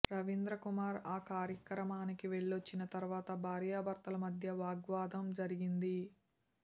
రవీంద్రకుమార్ ఆ కార్యక్రమానికి వెళ్లొచ్చిన తర్వాత భార్యాభర్తల మధ్య వాగ్వాదం జరిగింది